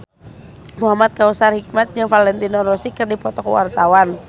Muhamad Kautsar Hikmat jeung Valentino Rossi keur dipoto ku wartawan